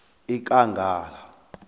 ekangala